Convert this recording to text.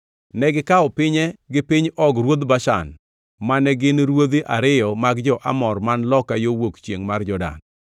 Negikawo pinye gi piny Og ruodh Bashan, mane gin gi ruodhi ariyo mag jo-Amor man loka yo wuok chiengʼ mar Jordan.